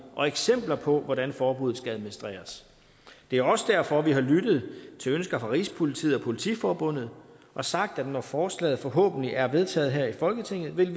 og eksempler på hvordan forbuddet skal administreres det er også derfor vi har lyttet til ønsker fra rigspolitiet og politiforbundet og sagt at når forslaget forhåbentlig er vedtaget her i folketinget vil